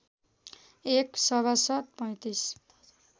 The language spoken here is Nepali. एक सभासद् ३५